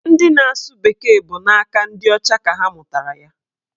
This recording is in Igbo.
Ndị na-asụ bekee bụ n'aka ndị ọcha ka ha mụtara ya